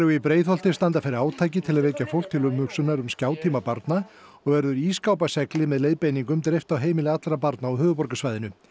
í Breiðholti standa fyrir átaki til að vekja fólk til umhugsunar um barna og verður með leiðbeiningum dreift á heimili allra barna á höfuðborgarsvæðinu